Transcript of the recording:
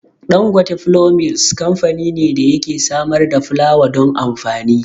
Dangote Flour Mills kamfani ne da yake samar da fulawa don amfani.